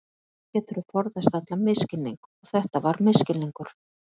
Þá geturðu forðast allan misskilning og þetta var misskilningur.